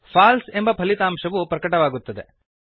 false ಎಂದು ಫಲಿತಾಂಶ ಪ್ರಕಟವಾಗುತ್ತದೆ